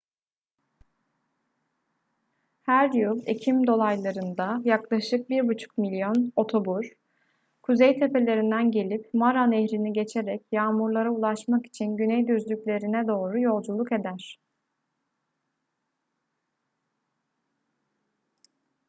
her yıl ekim dolaylarında yaklaşık 1,5 milyon otobur kuzey tepelerinden gelip mara nehrini geçerek yağmurlara ulaşmak için güney düzlüklerine doğru yolculuk eder